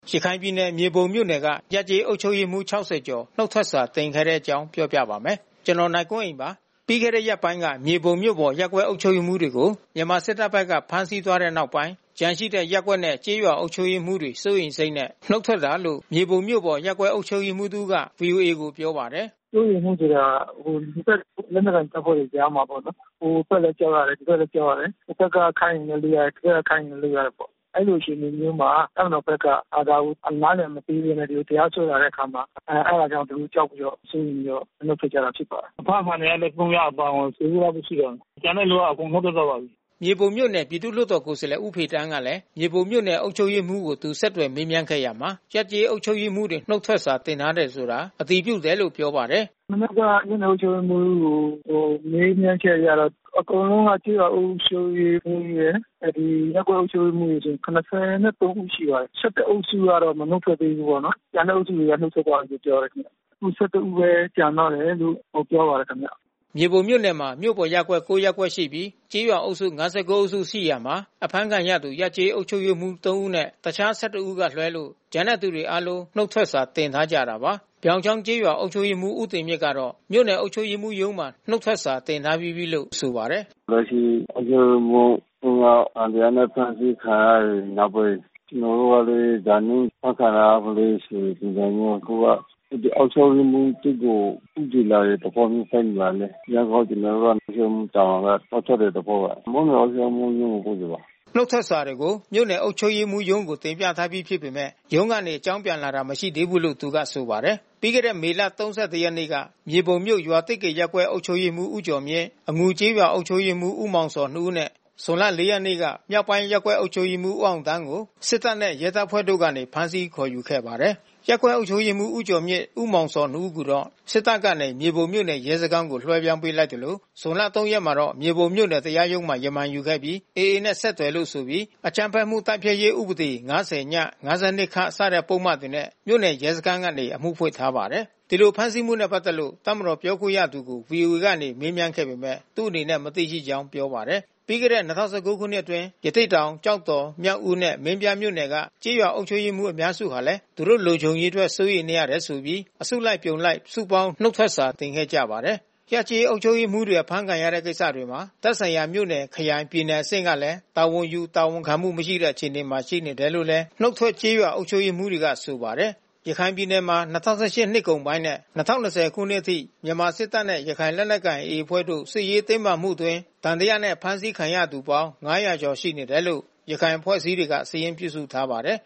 ရခိုင်ပြည်နယ် မြေပုံမြို့နယ်က ရပ်/ကျေးအုပ်ချုပ်ရေးမှူး ၆၀ နီးပါး နုတ်ထွက်စာတင်ထားကြပါတယ်။ အပြည့်အစုံကို နိုင်ကွန်းအိန် တင်ပြပေးထားပါတယ်။ ပြီးခဲ့တဲ့ရက်ပိုင်းက မြေပုံမြို့ပေါ်ရပ်ကွက် အုပ်ချုပ်ရေးမှူးတွေကို မြန်မာစစ်တပ်ဘက်က ဖမ်းဆီးသွားတဲ့နောက်ပိုင်း ကျန်ရှိတဲ့ ရပ်ကွက်နဲ့ ကျေးရွာအုပ်ချုပ်ရေးမှူးတွေ စိုးရိမ်စိတ်နဲ့ နုတ်ထွက်တာလို့ မြေပုံမြို့ပေါ် အုပ်ချပ်ရေးမှူးတဦးက ဗွီအိုအေကို ပြောပါတယ်။ “စိုးရိမ်မှုဆိုတာ နှစ်ဖက် လက်နက်ကိုင်တပ်တွေကြားမှာပေါ့နော်၊ ဟိုဘက်လည်း ကြောက်ရတယ်၊ ဒီဘက်လည်း ကြောက်ရတယ်။ ဟိုဘက်ကခိုင်းရင်လည်း လုပ်ရတယ်၊ ဒီဘက်ကခိုင်းရင်လည်း လုပ်ရတယ်ပေါ့နော်။ အဲဒီလိုအခြေအနေမျိုးမှာ တပ်မတော်ဘက်က ဒါကို နားလည်မပေးဘဲနဲ့ တရားစွဲလာတဲ့အခါမှာ အဲဒါကြောင့် သူတို့ ကြောက်ပြီးတော့၊ သူတို့ စိုးရိမ်ပြီးတော့ နုတ်ထွက်ကြတာ ဖြစ်ပါတယ်။ အဖမ်းခံရတဲ့ ၃ ယောက် အပါအဝင် ၁၀ ဦးလောက်ပဲ ရှိတော့တယ်။ ကျန်တဲ့လူ အကုန်နုတ်ထွက်သွားပါပြီ။” မြေပုံမြို့နယ် ပြည်သူ့လွှတ်တော်ကိုယ်စားလှယ် ဦးဖေသန်းကလည်း မြေပုံမြို့နယ် အုပ်ချုပ်ရေးမှူးကို သူ ဆက်သွယ်မေးမြန်းခဲ့ရာမှာ ရပ်/ကျေးအုပ်ချုပ်ရေးမှူးတွေ နုတ်ထွက်စာ တင်ထားတယ်ဆိုတာ အတည်ပြုတယ်လို့ ပြောပါတယ်။ “မနက်က မြို့နယ်အုပ်ချုပ်ရေးမှူးကို မေးမြန်းချက်အရတော့ အကုန်လုံးက ကျေးရွာအုပ်ချုပ်ရေးမှူးရယ် ရပ်ကွက်အုပ်ချုပ်ရေးမှူးဆို ၇၃ ဦးရှိပါတယ်။ ၁၁ ဦးကတော့ နုတ်မထွက်သေးဘူးပေါ့နော်။ ကျန်တဲ့အုပ်စုတွေတော့ နုတ်ထွက်သွားပြီလို့ ပြောတယ်။ ခု ၁၁ ဦးပဲ ကျန်တော့တယ်လို့ ပြောပါတယ်ခင်ဗျ။” မြေပုံမြို့နယ်မှာ မြို့ပေါ်ရပ်ကွက် ၉ ရပ်ကွက်ရှိပြီး ကျေးရွာအုပ်စု ၅၉ အုပ်စုရှိရာမှာ အဖမ်းခံရသူ ရပ်ကျေးအုပ်ချုပ်ရေးမှူး ၃ ဦးနဲ့ တခြား ၁၁ ဦးကလွဲလို့ ကျန်တဲ့သူတွေအားလုံး နုတ်ထွက်စာ တင်ထားကြတာပါ။ ပြောင်ချောင်းကျေးရွာ အုပ်ချုပ်ရေးမှူး ဦးတင်မြင့်ကတော့ မြို့နယ်အုပ်ချုပ်ရေးမှူးရုံးမှာ နုတ်ထွက်စာတင်ထားပြီးပြီလို့ ဆိုပါတယ်။ “လက်ရှိ အုပ်ချုပ်ရေးမှူး ၃ ယောက် သံသယနဲ့ ဖမ်းဆီးခံရတဲ့နောက်ပိုင်း ကျနော်တို့လည်း ဒါမျိုး အဖမ်းခံရမလဲဆိုတဲ့ ပုံစံမျိုး အခုက အဲဒီ အုပ်ချုပ်ရေးမှူးဘက်ကို ဦးတည်လာတဲ့သဘောမျိုး သက်ရောက်လာနေတယ်။ ဒါကြောင့်မို့ ကျနော်တို့က အုပ်ချုပ်ရေးမှူးတာဝန်က နုတ်ထွက်တဲ့သဘောပါ။ မြို့နယ်အုပ်ချုပ်ရေးမှူးရုံးကို ပို့ပေးပါတယ်။” နုတ်ထွက်စာတွေကို မြို့နယ်အုပ်ချုပ်ရေးမှူးရုံးကို တင်ပြထားပြီးဖြစ်ပေမယ့် ရုံးကနေ အကြောင်းပြန်လာတာ မရှိသေးဘူးလို့ သူက ဆိုပါတယ်။ ပြီးခဲ့တဲ့ မေလ ၃၁ ရက်နေ့က မြေပုံမြို့ ရွာသစ်ကေရပ်ကွက် အုပ်ချုပ်ရေးမှူး ဦးကျော်မြင့်၊ အငူကျေးရွာ အုပ်ချုပ်ရေးမှူး ဦးမောင်ဇော်တို့ ၂ ဦးနဲ့ ဇွန်လ ၄ ရက်နေ့က မြောက်ပိုင်းရပ်ကွက် အုပ်ချုပ်ရေးမှူး ဦးအောင်သန်းကို စစ်တပ်နဲ့ ရဲတပ်ဖွဲ့ကနေ ဖမ်းဆီးခေါ်ယူခဲ့ပါတယ်။ ရပ်ကွက်အုပ်ချုပ်ရေးမှူး ဦးကျော်မြင့်နဲ့ ဦးမောင်ဇော်တို့ ၂ ဦးကိုတော့ စစ်တပ်ကနေ မြေပုံမြို့နယ် ရဲစခန်းကို လွှဲပြောင်းပေးလိုက်သလို ဇွန်လ ၃ ရက်နေ့မှာတော့ မြေပုံမြို့နယ် တရားရုံးမှာ ရမန်ယူခဲ့ပြီး AA နဲ့ ဆက်သွယ်လို့ဆိုပြီး အကြမ်းဖက်မှုတိုက်ဖျက်ရေး ဥပဒေ ၅၀ (ည)၊ ၅၂ (ခ) စတဲ့ပုဒ်မတွေနဲ့ မြို့နယ်ရဲစခန်းကနေ အမှုဖွင့်ထားပါတယ်။ ဒီလို ဖမ်းဆီးမှုနဲ့ပတ်သက်လို့ တပ်မတော်ပြောခွင့်ရသူကို ဗွီအိုအေကနေ မေးမြန်းခဲ့ပေမယ့် သူ့အနေနဲ့ မသိရှိကြောင်း ပြောပါတယ်။ ပြီးခဲ့တဲ့ ၂ဝ၁၉ ခုနှစ်အတွင်းကလည်း ရသေ့တောင်၊ ကျောက်တော်၊ မြောက်ဦးနဲ့ မင်းပြားမြို့နယ်တို့က ကျေးရွာအုပ်ချုပ်ရေးမှူး အများစုဟာလည်း သူတို့လုံခြုံရေးအတွက် စိုးရိမ်နေရလို့ဆိုပြီး အစုလိုက်အပြုံလိုက် စုပေါင်း နုတ်ထွက်စာ တင်ခဲ့ကြဖူးပါတယ်။ ရပ်ကျေးအုပ်ချုပ်ရေးမှူးတွေ ဖမ်းဆီးခံရတဲ့ ကိစ္စတွေမှာ သက်ဆိုင်ရာ မြို့နယ် ခရိုင် ပြည်နယ်အဆင့်ကလည်း တာဝန်ယူ တာဝန်ခံမှုမရှိတဲ့ အခြေအနေမှာ ရှိနေတယ်လို့လည်း နုတ်ထွက်ကျေးရွာ အုပ်ချုပ်ရေးမှူးတွေက ဆိုပါတယ်။ ရခိုင်ပြည်နယ်မှာ ၂၀၁၈ နှစ်ကုန်ပိုင်းနဲ့ ၂၀၂၀ ခုနှစ်အထိ မြန်မာစစ်တပ်နဲ့ ရခိုင်လက်နက်ကိုင် AA အဖွဲ့တို့ စစ်ရေးတင်းမာမှုအတွင်း သံသယနဲ့ ဖမ်းဆီးခံရသူပေါင်း ၅၀၀ ကျော် ရှိနေတယ်လို့ ရခိုင်အဖွဲ့အစည်းတွေက စာရင်းပြုစုထားပါတယ်